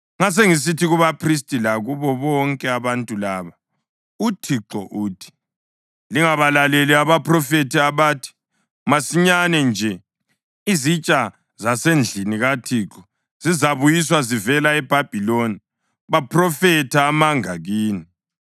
Ngasengisithi kubaphristi lakubo bonke abantu laba, “ UThixo uthi: Lingabalaleli abaphrofethi abathi, ‘Masinyane nje izitsha zasendlini kaThixo zizabuyiswa zivela eBhabhiloni.’ Baphrofetha amanga kini.